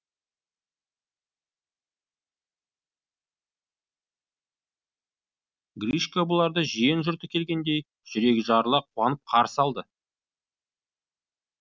гришка бұларды жиен жұрты келгендей жүрегі жарыла қуанып қарсы алды